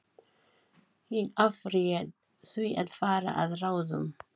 Ég afréð því að fara að ráðum